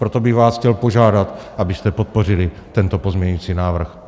Proto bych vás chtěl požádat, abyste podpořili tento pozměňující návrh.